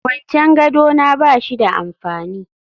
Kwancen gado na ba shi da amfani